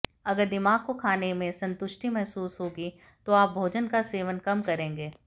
अगर दिमाग को खाने में संतुष्टि महसूस होगी तो आप भोजन का सेवन कम करेंगे